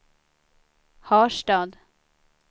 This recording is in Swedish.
Harstad